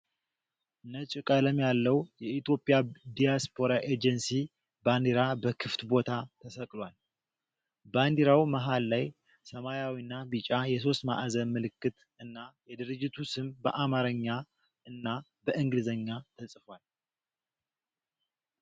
ነጭ ቀለም ያለው የኢትዮጵያ ዲያስፖራ ኤጀንሲ ባንዲራ በክፍት ቦታ ተሰቅሏል። ባንዲራው መሀል ላይ ሰማያዊና ቢጫ የሶስት ማዕዘን ምልክት እና የድርጅቱ ስም በአማርኛና በእንግሊዝኛ ተጽፏል።